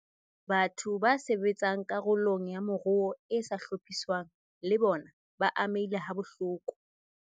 Batho ba sebetsang karolong ya moruo e sa hlophiswang le bona ba amehile habohloko.